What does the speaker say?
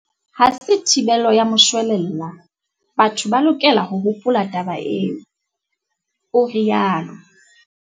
Ha se thibelo ya moshwelella, batho ba lokela ho hopola taba eo, o rialo.